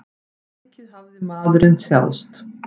Mikið hafði maðurinn þjáðst.